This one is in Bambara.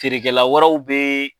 Feerekɛla wɛrɛw bɛ